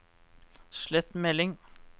slett melding